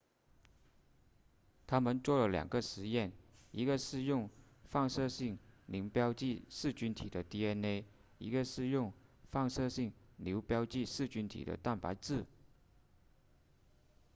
他们做了两个实验一个是用放射性磷标记噬菌体的 dna 一个是用放射性硫标记噬菌体的蛋白质